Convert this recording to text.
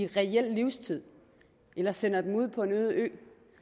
reel livstid eller sender dem ud på en øde ø